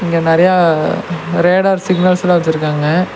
இங்க நெறையா ரேடார் சிக்னல்ஸ்லா வெச்சுருக்காங்க.